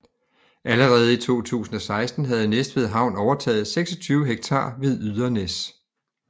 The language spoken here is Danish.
Allerede i 2016 havde Næstved Havn overtaget 26 ha ved Ydernæs